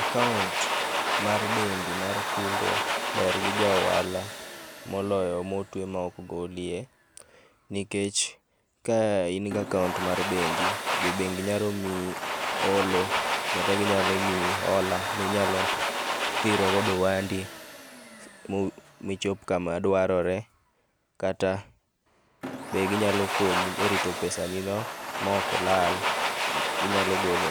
Akaunt mar bengi mar kungo ber gi ja ohala moloyo ma otwe maok golie nikech ka in gi akaunt mar bengi jo bengi nyalo miyo holo kata ginyalo miyi hola minyalo dhiro godo ohandi michop kama dwarore kata be ginyalo konyi e rito pesani no maok lal, inyalo gole,